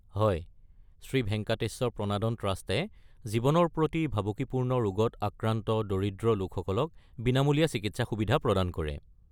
হয়, শ্ৰী ভেংকাতেশ্বৰ প্ৰনাদন ট্ৰাষ্টে জীৱনৰ প্ৰতি ভাবুকিপূৰ্ণ ৰোগত আক্ৰান্ত দৰিদ্ৰ লোকসকলক বিনামূলীয়া চিকিৎসা সুবিধা প্ৰদান কৰে।